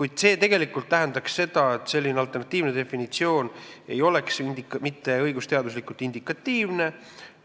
Kuid see tähendaks, et selline alternatiivne definitsioon ei oleks õigusteaduslikult indikatiivne,